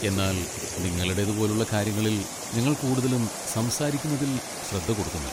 എന്നാൽ നിങ്ങളുടേത് പോലുള്ള കാര്യങ്ങളിൽ, ഞങ്ങൾ കൂടുതലും സംസാരിക്കുന്നതിൽ ശ്രദ്ധ കൊടുക്കുന്നു.